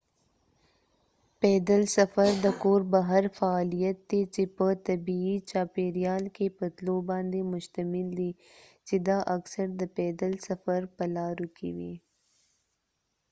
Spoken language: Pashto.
پیدل سفر د کور بهر فعالیت دی چې په طبیعي چاپیریال کې په تلو باندې مشتمل دی چې دا اکثر د پیدل سفر په لارو کې وي